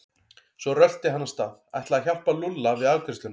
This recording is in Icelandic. Svo rölti hann af stað, ætlaði að hjálpa Lúlla við afgreiðsluna.